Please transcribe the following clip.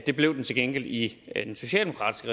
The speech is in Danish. det blev den til gengæld i den socialdemokratisk